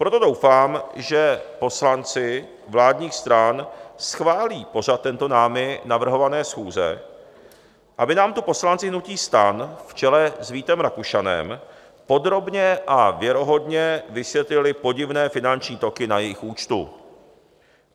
Proto doufám, že poslanci vládních stran schválí pořad této námi navrhované schůze, aby nám tu poslanci hnutí STAN v čele s Vítem Rakušanem podrobně a věrohodně vysvětlili podivné finanční toky na jejich účtu.